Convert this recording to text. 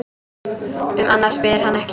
Um annað spyr hann ekki.